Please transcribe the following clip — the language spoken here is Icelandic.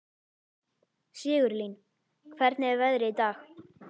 Sigurlín, hvernig er veðrið í dag?